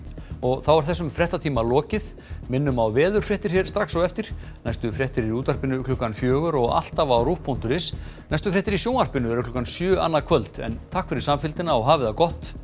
þá er þessum fréttatíma lokið minnum á veðurfréttir hér strax á eftir næstu fréttir í útvarpi klukkan fjögur og alltaf á ruv punktur is næstu fréttir í sjónvarpi eru klukkan sjö annað kvöld takk fyrir samfylgdina og hafið það gott